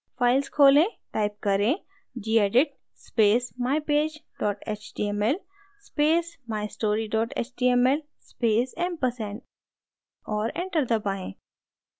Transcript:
files खोलें type करें gedit space mypage html space mystory html space ampersand और enter दबाएँ